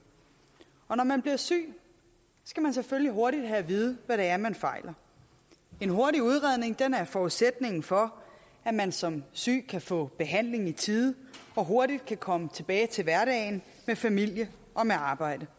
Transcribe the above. når man bliver syg skal man selvfølgelig hurtigt have at vide hvad det er man fejler en hurtig udredning er forudsætningen for at man som syg kan få behandling i tide og hurtigt kan komme tilbage til hverdagen med familie og med arbejde